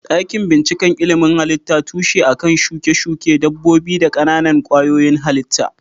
Dakin bincikan ilimin halitta tushe a kan shuke-shuke dabbobi da ƙananan kwayoyin halitta.